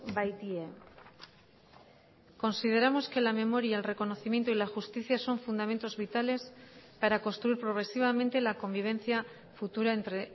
baitie consideramos que la memoria el reconocimiento y la justicia son fundamentos vitales para construir progresivamente la convivencia futura entre